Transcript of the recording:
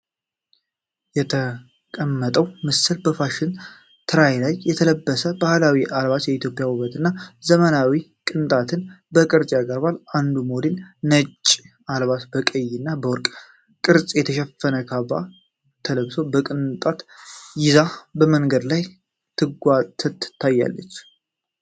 የተቀመጠው ምስል በፋሽን ትራይ ላይ የተለበሰ ባህላዊ አልባስ የኢትዮጵያን ውበት እና ዘመናዊ ቅንጣትን በቅርጽ ያቀርባል። አንዱ ሞዴል ነጭ አልባስ በቀይ እና በወርቅ ቅርጽ የተሸፈነ ካፕ ተለብጦ በቅንጣት ይዞ በመንገድ ላይ ታይቷል።